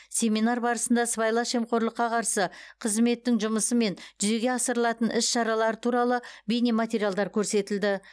семинар барысында сыбайлас жемқорлыққа қарсы қызметтің жұмысы мен жүзеге асырылатын іс шаралары туралы бейнематериалдар көрсетілді